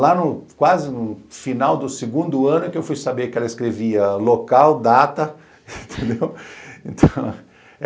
Lá no quase no final do segundo ano é que eu fui saber que ela escrevia local, data, entendeu?